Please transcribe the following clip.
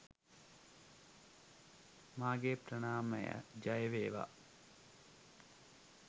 මාගේ ප්‍රණාමය.ජයවේවා!